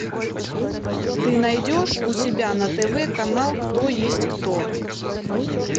ты найдешь у себя на тв канал кто есть кто